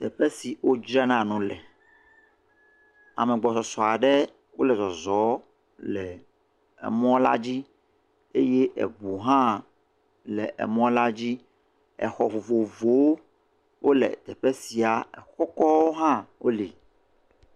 Teƒe si wodzrna nu le. Ame agbɔsɔsɔ aɖe wole zɔzɔm le mɔ la dzi eye eŋu hã le emɔ la dzi.. exɔ vovovowo wole teƒe sia. Exɔ kɔkɔwo hã wo li.